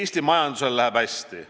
Eesti majandusel läheb hästi.